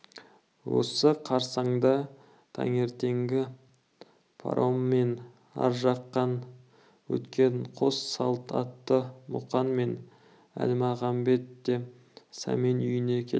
осы қарсаңда таңертеңгі пароммен ар жақтан өткен қос салт атты мұқан мен әлмағамбет те сәмен үйіне келді